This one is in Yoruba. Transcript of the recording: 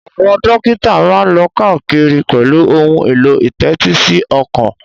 Àwọn dókítà máa ń lọ káàkiri pẹ̀lú ohun èlò ìtẹ́tísíọkàn